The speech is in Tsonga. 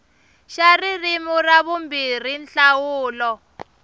xa ririmi ra vumbirhi nhlawulo